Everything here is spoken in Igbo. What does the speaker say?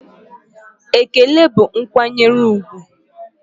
Ekele bụ nkwanyere úgwù